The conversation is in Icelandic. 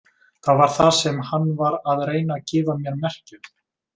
Það var það sem hann var að reyna að gefa mér merki um.